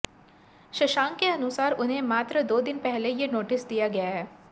शशांक के अनुसार उन्हें मात्र दो दिन पहले ये नोटिस दिया गया है